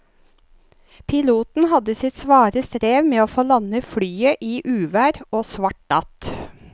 Piloten hadde sitt svare strev med å få landet flyet i uvær og svart natt.